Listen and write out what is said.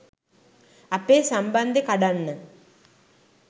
අපේ සම්බන්දෙ කඩන්න